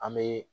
An bɛ